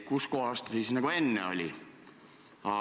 Kus kohas ta siis nagu enne oli?